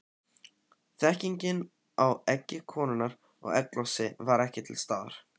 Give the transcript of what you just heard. Þekkingin á eggi konunnar og egglosi var ekki til staðar.